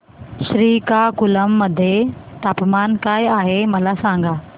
श्रीकाकुलम मध्ये तापमान काय आहे मला सांगा